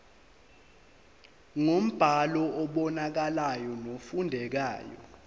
ngombhalo obonakalayo nofundekayo